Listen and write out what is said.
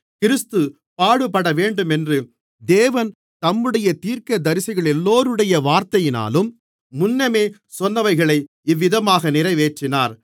கிறிஸ்து பாடுபடவேண்டுமென்று தேவன் தம்முடைய தீர்க்கதரிசிகளெல்லோருடைய வார்த்தையினாலும் முன்னமே சொன்னவைகளை இவ்விதமாக நிறைவேற்றினார்